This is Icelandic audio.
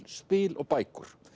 spil og bækur